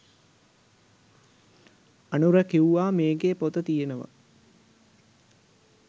අනුර කිව්වා මේකේ පොත තියෙනවා